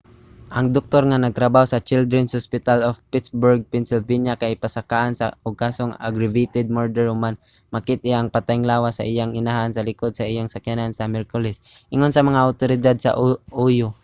ang doktor nga nagtrabaho sa children's hospital of pittsburgh pennsylvania kay pasakaan og kasong aggravated murder human makit-i ang patayng lawas sa iyang inahan sa likod sa iyang sakyanan sa miyerkules ingon sa mga awtoridad sa ohio